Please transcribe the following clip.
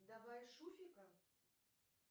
давай шуфика